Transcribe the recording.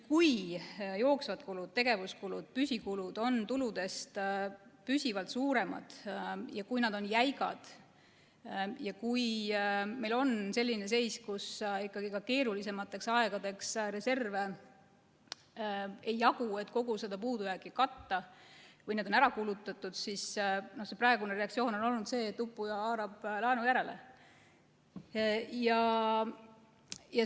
Kui jooksvad kulud, tegevuskulud, püsikulud on tuludest püsivalt suuremad ja kui nad on jäigad ja kui meil on selline seis, kus ikkagi keerulisemateks aegadeks reserve ei jagu, et kogu seda puudujääki katta, või on need ära kulutatud, siis praegune reaktsioon on olnud selline, et uppuja haarab laenu järele.